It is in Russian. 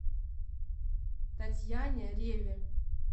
татьяне реве